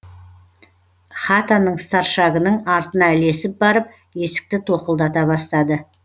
хатаның старшагының артына ілесіп барып есікті тоқылдата бастады